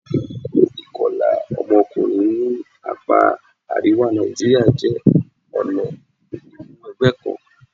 Ìkọlà ọmọkùnrin ní apá àríwá Nàìjíríà jẹ́ ọ̀nà ìmúwẹgbẹ́ kan.